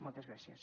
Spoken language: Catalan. moltes gràcies